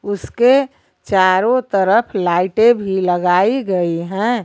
उसके चारों तरफ लाइटें भी लगाई गई हैं।